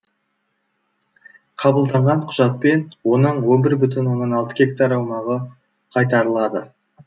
қабылданған құжатпен оның он бір бүтін оннан алты гектар аумағы қайтарылады